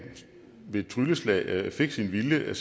med et trylleslag fik sin vilje